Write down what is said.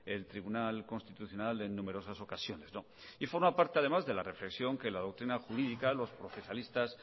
el tribunal constitucional en numerosas ocasiones y forma parte además de la reflexión que la doctrina jurídica los procesalistas